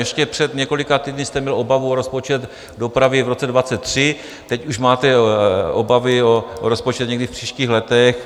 Ještě před několika týdny jste měl obavu o rozpočet dopravy v roce 2023, teď už máte obavy o rozpočet někdy v příštích letech.